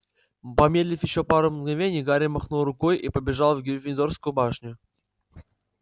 помедлив ещё пару мгновений гарри махнул рукой и побежал в гриффиндорскую башню